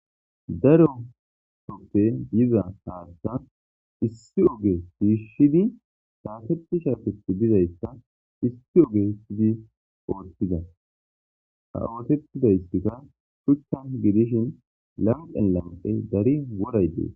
daro soppe diza haatta issi oge siishshidi taaseti shaafethi dizayssa issi oge issidi oothtida ha ootettida histika shuchchan gidishin lamqen lamqe dari woray dees